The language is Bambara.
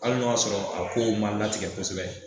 Hali n'o y'a sɔrɔ a kow ma latigɛ kosɛbɛ